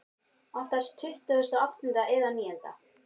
Oftast tuttugasta og áttunda eða níunda.